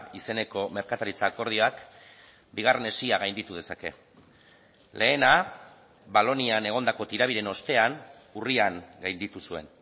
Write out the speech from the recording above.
izeneko merkataritza akordioak bigarren hesia gainditu dezake lehena valonian egondako tirabiren ostean urrian gainditu zuen